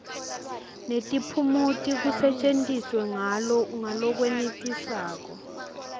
netiphumuti kusetjentiswe ngalokwenetisako